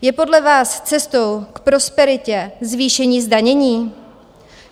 Je podle vás cestou k prosperitě zvýšení zdanění?